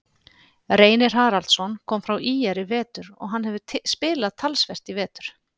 Reynir Haraldsson kom frá ÍR í vetur og hann hefur spilað talsvert í vetur.